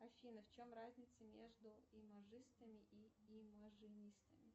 афина в чем разница между имажистами и имажинистами